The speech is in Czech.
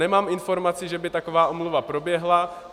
Nemám informaci, že by taková omluva proběhla.